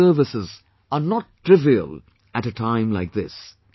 These services are not trivial at a time like this